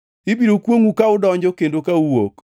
Ibiro kwongʼou ka udonjo kendo kuwuok.